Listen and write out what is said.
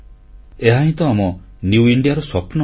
ଏହାହିଁ ତ ଆମ ନିଉ ଇଣ୍ଡିଆ ବା ନୂଆ ଭାରତର ସ୍ୱପ୍ନ